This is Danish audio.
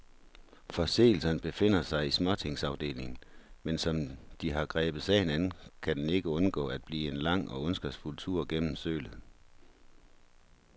Forseelserne befinder sig i småtingsafdelingen, men som de har grebet sagen an, kan den ikke undgå at blive en lang og ondskabsfuld tur gennem sølet.